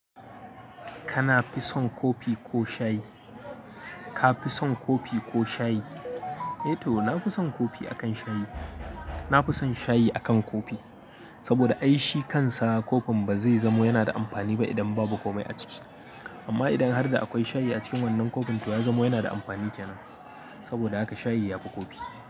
Kana fi son kofi ko shayi? Ka fi son kofi ko shayi? Eh to, na fi son kofi akan shayi. Na fi son shayi akan kofi. Saboda ai shi kansa kofin ba zai zamo yana da amfani ba idan babu komai a ciki. Amma idan har da akwai shayi a cikin wannan kofin, to ya zamo yana da amfani kenan. Saboda haka shayi ya fi kofi.